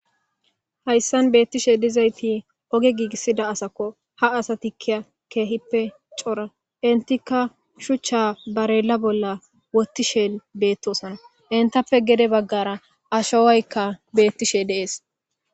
hayssan beettishe dizayti oge giigissida asakko ha asati kia keehippe cora intika shuchcha barela bolla wottishe beettosana intappe gede baggara ashowaykka beettishe deees